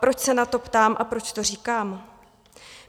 Proč se na to ptám a proč to říkám?